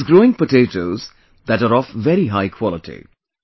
He is growing potatoes that are of very high quality